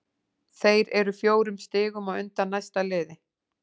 Þeir eru fjórum stigum á undan næsta liði.